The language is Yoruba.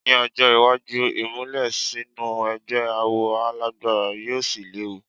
Ní ọjọ́ iwájú, ìmùlẹ̀ sínú ẹgbẹ́ awo á lágbára yóò sì léwu.